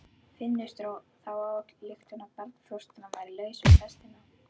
Finnur dró þá ályktun að barnfóstran væri laus við pestina.